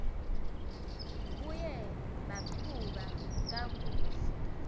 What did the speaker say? buye baqhuba kakuhle